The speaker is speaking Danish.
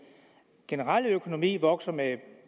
generelle økonomi vokser med